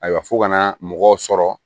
Ayiwa f'u ka na mɔgɔw sɔrɔ